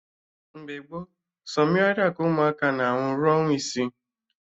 Mgbe gboo, sọ mmiri ara ka ụmụaka na aṅụ rue ọnwa isii